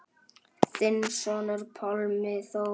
Þinn sonur, Pálmi Þór.